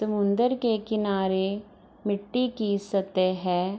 समुनदर के किनारे मिट्टी की सतह है।